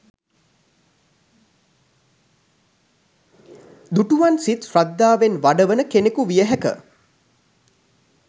දුටුවන් සිත් ශ්‍රද්ධාවෙන් වඩවන කෙනෙකු විය හැක